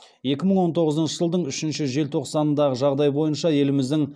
екі мың он тоғызыншы жылдың үшінші желтоқсанындағы жағдай бойынша еліміздің